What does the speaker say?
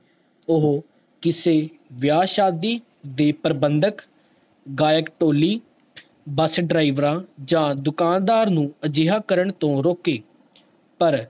ਓਹੋ ਕਿਸੇ ਵਿਆਹ ਸ਼ਾਦੀ ਦੇ ਪਰਵੰਦਕ ਗਾਇਕ ਟੋਲੀ bus driver ਜਾ ਦੁਕਾਨਦਾਰ ਨੂੰ ਅਜਿਹਾ ਕਰਨ ਤੋਂ ਰੋਕੇ ਪਰ